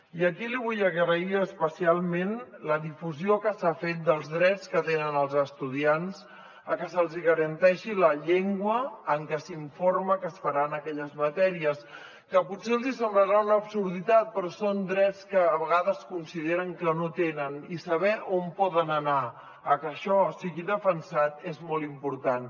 i aquí li vull agrair especialment la difusió que s’ha fet dels drets que tenen els estudiants que se’ls garanteixi la llengua en què s’informa que es faran aquelles matèries que potser els semblarà una absurditat però són drets que a vegades consideren que no tenen i saber on poden anar a que això sigui defensat és molt important